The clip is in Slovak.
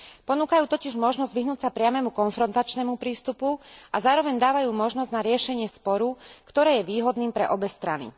Ponúkajú totiž možnosť vyhnúť sa priamemu konfrontačnému prístupu a zároveň dávajú možnosť na riešenie sporu, ktoré je výhodným pre obe strany.